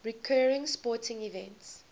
recurring sporting events